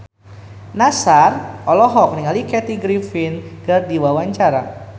Nassar olohok ningali Kathy Griffin keur diwawancara